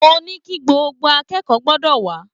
Mo ní kí gbogbo akẹ́kọ̀ọ́ gbọ́dọ̀ wà á